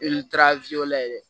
I taara layɛ